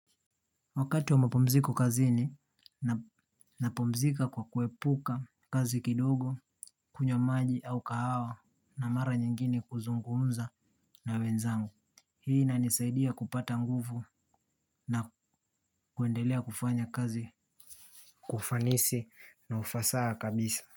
Wakati wa mapumziko kazini napumzika kwa kuepuka kazi kidogo kunywa maji au kahawa na mara nyingine kuzungumza na wenzangu. Hii na inanisaidia kupata nguvu na kuendelea kufanya kazi kwa ufanisi na ufasaha kabisa.